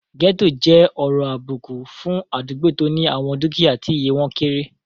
Gẹ́ẹ́tò jẹ́ ọ̀rọ̀ àbùkù fún àdúgbò tó ní àwọn dúkìyá tí iye wọ́n kéré